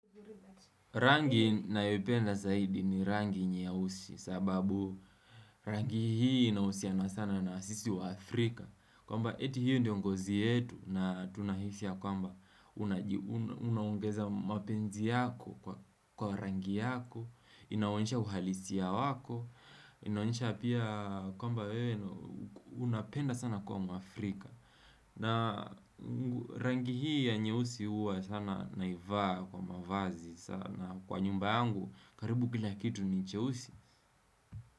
Rangi naipenda zaidi ni rangi nye usi sababu rangi hii inausiana sana na sisi wa Afrika. Kwamba eti hii ndiongozi yetu na tunahisia kwa mba unongeza mapenzi yako kwa rangi yako, inaonisha uhalisia wako, inaonisha pia kwa mba unapenda sana kuwa mwaAfrika. Na rangi hii ya nyeusi uwa sana naivaa kwa mavazi sana Kwa nyumba yangu karibu kila kitu ni nyeusi.